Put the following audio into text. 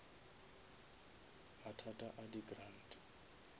mathata a di grant